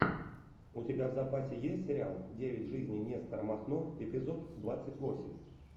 у тебя в запасе есть сериал девять жизней нестора махно эпизод двадцать восемь